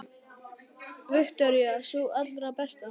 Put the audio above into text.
Viktoría: Sú allra besta?